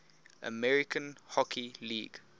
american hockey league